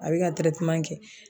A be ka tɛrɛteman kɛ